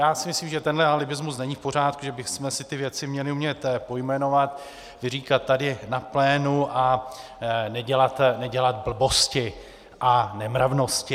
Já si myslím, že tenhle alibismus není v pořádku, že bychom si ty věci měli umět pojmenovat, vyříkat tady na plénu a nedělat blbosti a nemravnosti.